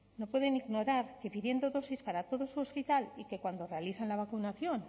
no pueden ignorar que pidiendo dosis para todo su hospital y que cuando realizan la vacunación